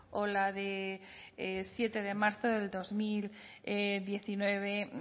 o la de siete de marzo del dos mil diecinueve